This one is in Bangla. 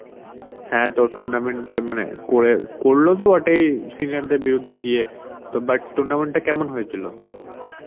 তো tournament এ মানে করে~ করলো তো বটেই senior দের বিরুদ্ধে গিয়ে. তো but tournament টা কেমন হয়েছিল?